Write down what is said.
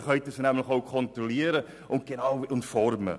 Dann können Sie diese nämlich auch kontrollieren und formen.